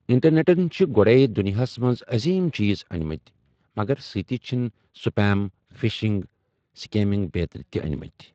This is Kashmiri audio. اِنٹرنیٚٹن چھِ گۄڈَے دُنیاہس منٛز عظیم چیز أنمٕتۍ، مگر سۭتی چھِن سٕپیم، پِھشِنٛگ، سٕکیمِنٛگ بیترِ تہِ أنمٕتۍ۔